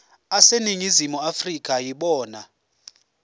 aseningizimu afrika yibona